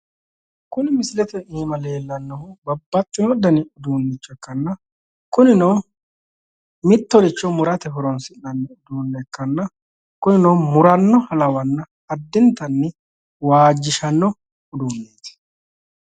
Misilete aana leellannohu babbaxxino dani uduunnicho ikkanna kunino mittoricho murate horoonsi'nanni uduunnicho ikkanna kunino murannoha lawanna addintanni waajjishanno uduunneeti.